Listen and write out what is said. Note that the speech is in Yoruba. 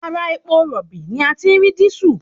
Ara epo rọ̀bì ni a ti rí dísù